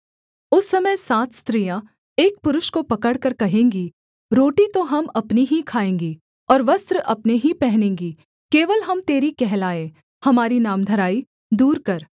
उस समय सात स्त्रियाँ एक पुरुष को पकड़कर कहेंगी रोटी तो हम अपनी ही खाएँगी और वस्त्र अपने ही पहनेंगी केवल हम तेरी कहलाएँ हमारी नामधराई दूर कर